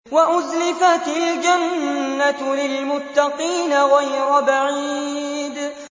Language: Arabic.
وَأُزْلِفَتِ الْجَنَّةُ لِلْمُتَّقِينَ غَيْرَ بَعِيدٍ